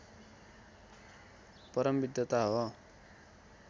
परम विद्वता हो